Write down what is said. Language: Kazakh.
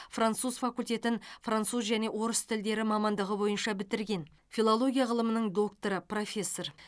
француз факультетін француз және орыс тілдері мамандығы бойынша бітірген филология ғылымының докторы профессор